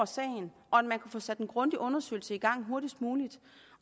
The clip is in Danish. sagen og at man kunne få sat en grundig undersøgelse i gang hurtigst muligt